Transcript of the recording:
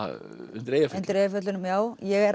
undir Eyjafjöllum undir Eyjafjöllunum já ég er